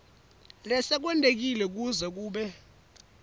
lesekwentekile kuze kube